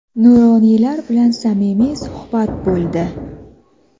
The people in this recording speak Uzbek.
nuroniylar bilan samimiy suhbat bo‘ldi.